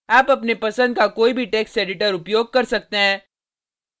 आप अपने पसंद का कोई भी टेक्स्ट एडिटर उपयोग कर सकते हैं